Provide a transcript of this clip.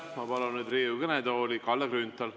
Ma palun nüüd Riigikogu kõnetooli Kalle Grünthali.